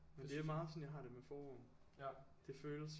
Det er meget sådan jeg har det med forår det føles